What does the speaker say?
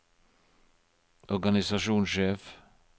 organisasjonssjef